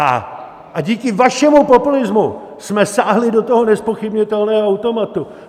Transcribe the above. A díky vašemu populismu jsme sáhli do toho nezpochybnitelného automatu.